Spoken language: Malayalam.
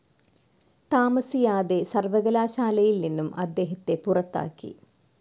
താമസിയാതെ സർവ്വകലാശാലയിൽ നിന്നും അദ്ദേഹത്തെ പുറത്താക്കി.